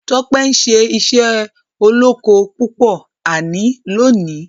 Tope ṣe iṣé olókó púpò àní lóni.